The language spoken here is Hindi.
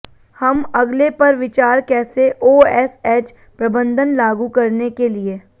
हम अगले पर विचार कैसे ओएसएच प्रबंधन लागू करने के लिए